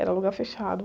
Era lugar fechado.